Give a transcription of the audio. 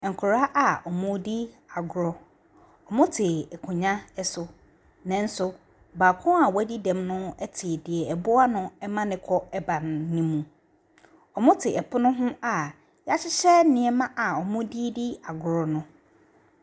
Nkwadaa a wɔredi agorɔ, wɔte nkonnwa so, nanso baako a wɔadi dɛm no te deɛ ɛboa no ma ne kɔ ba no mu, wɔte pono ho a yɛahyehyɛ nneɛma wɔde redi agorɔ no.